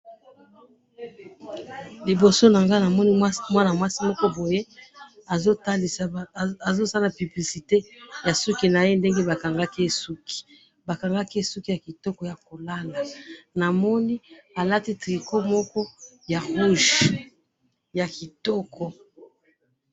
liboso nanga na moni mwana mwasi moko boye azo sala publicite ya suki yake ndenge ba kangaki ye suki ba kangaki ye suki ya kitoko yako lala na moni alati tricot ya rouge ya kitoko